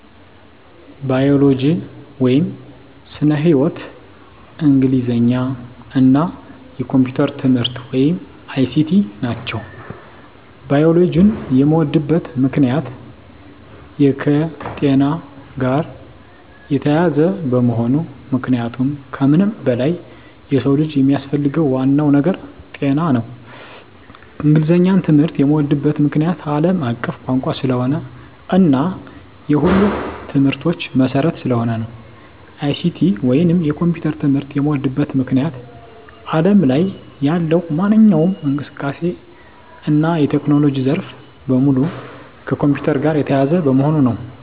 ባዮሎጂ (ስነ-ህይዎት)፣ እንግሊዘኛ እና የኮምፒዩተር ትምህርት(ICT) ናቸው። ባዮሎጂን የምወድበት ምክንያት - የከጤና ጋር የተያያዘ በመሆኑ ምክንያቱም ከምንም በላይ የሰው ልጅ የሚያስፈልገው ዋናው ነገር ጤና ነው። እንግሊዘኛን ትምህርት የምዎድበት ምክንያት - አለም አቀፍ ቋንቋ ስለሆነ እና የሁሉም ትምህርቶች መሰረት ስለሆነ ነው። ICT ወይንም የኮምፒውተር ትምህርት የምዎድበት ምክንያት አለም ላይ ያለው ማንኛውም እንቅስቃሴ እና የቴክኖሎጂ ዘርፍ በሙሉ ከኮምፒውተር ጋር የተያያዘ በመሆኑ ነው።